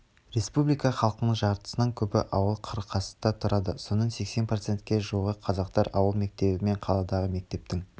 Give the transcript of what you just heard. республика халқының жартысынан көбі ауыл-қыстақта тұрады соның сексен процентке жуығы қазақтар ауыл мектебі мен қаладағы мектептің